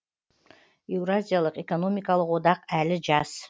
еуразиялық экономикалық одақ әлі жас